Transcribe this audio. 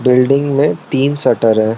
Building में तीन shutter हैं।